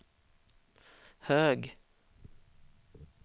hög